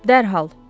Dərhal.